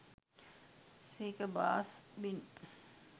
speaker bass bin